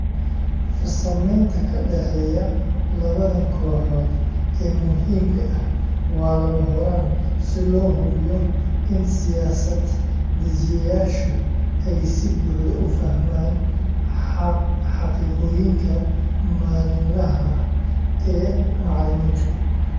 Farsamaynta ka dhexeeya labadan kooxood ee muhiimka ah waa lama huraan si loo hubiyo in siyaasad-dejiyayaashu ay si buuxda u fahmaan xaqiiqooyinka maalinlaha ah ee macallimiinta.